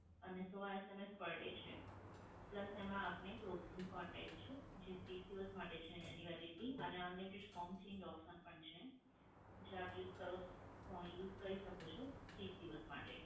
અને સૌ SMS per day છે. plus એમાં આપને contact છે, જે ત્રીસ દિવસ માટે છે, એને એની validity. અને unlimited સોંગ change option પણ છે. જે આપ use કરો અ use કરી શકો છો ત્રીસ દિવસ માટે.